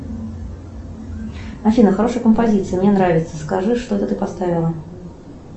афина хорошая композиция мне нравится скажи что это ты поставила